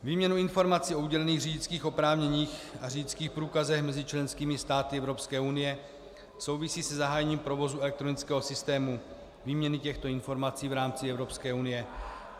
Výměna informací o udělených řidičských oprávněních a řidičských průkazech mezi členskými státy Evropské unie souvisí se zahájením provozu elektronického systému výměny těchto informací v rámci Evropské unie.